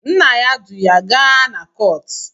Nna ya du ya gaa na kọọtụ